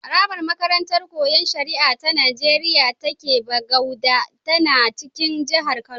Harabar makarantar Koyon Shari'a ta Nigeriya da ke Bagauda tana cikin jihar Kano.